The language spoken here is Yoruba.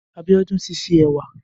Abiodun ti sé ẹwà